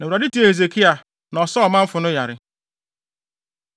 Na Awurade tiee Hesekia na ɔsaa ɔmanfo no yare.